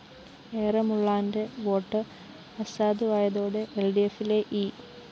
എറമുളളാന്റെ vote അസാധുവായതോടെ എല്‍ഡിഎഫിലെ E